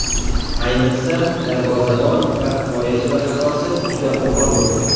Ayniqsa, darvozabon va himoyachilar xatosi juda qo‘pol bo‘ldi.